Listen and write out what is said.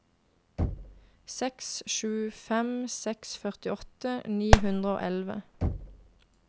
seks sju fem seks førtiåtte ni hundre og elleve